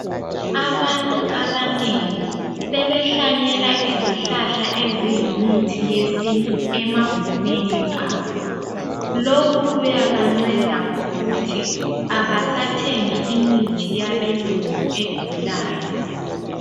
Abantu abanengi sebehlanyela izihlahla eziyimithi yesintu emagumeni abo lokhu kuyabanceda ngokuthi abasathengi imithi yabelungu edulayo.